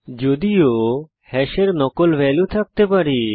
যদিও হ্যাশের নকল ভ্যালু থাকতে পারে